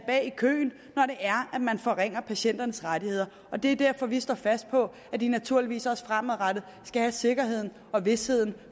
køen når man forringer patienternes rettigheder og det er derfor vi står fast på at de naturligvis også fremadrettet skal have sikkerheden og visheden